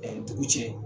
Ɛɛ dugu cɛ